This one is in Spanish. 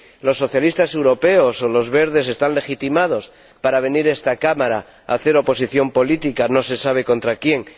Los socialistas europeos y los verdes están legitimados para venir a esta Cámara a hacer oposición política, no se sabe contra quién.